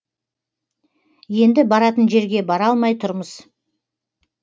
енді баратын жерге бара алмай тұрмыз